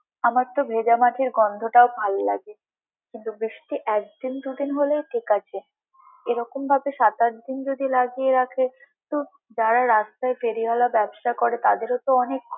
আমার তো ভেজা মাটির গন্ধটাও ভালো লাগে কিন্তু বৃষ্টি একদিন দুদিন হলে ঠিক আছে, এরকম ভাবে সাত-আট দিন যদি লাগিয়ে রাখে তো যারা রাস্তায় ফেরিওয়ালা ব্যবসা করে তাদের তো অনেক।